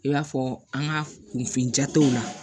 I b'a fɔ an ka kunfin jataw la